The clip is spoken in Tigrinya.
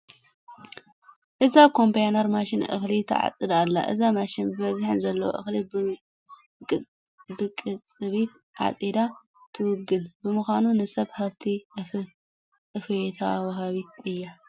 እዛ ኮምባይነር ማሽን እኽሊ ትዓፅድ ኣላ፡፡ እዛ ማሽን ብዝሒ ንዘለዎ እኽሊ ብቕፅበት ዓፂዳ ትውግን ብምዃና ንሰብ ሃፍቲ እፎይታ ወሃቢት እያ፡፡